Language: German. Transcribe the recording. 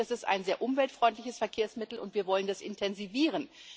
Das ist ein sehr umweltfreundliches Verkehrsmittel, und wir wollen das intensivieren.